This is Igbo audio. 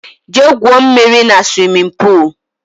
Jee gwụo mmírí na swimin poolu!!!